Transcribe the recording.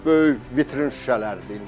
Böyük vitrin şüşələrdir.